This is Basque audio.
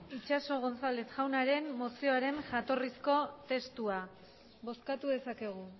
itxaso gonzález jaunaren mozioaren jatorrizko testua bozkatu dezakegu